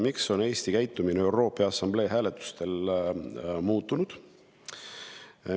Miks on Eesti käitumine ÜRO Peaassamblee hääletustel muutunud?